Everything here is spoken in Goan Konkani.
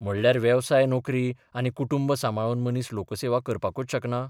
म्हणल्यार वेवसाय नोकरी आनी कुटुंब सांबाळून मनीस लोकसेवा करपाकूच शकना?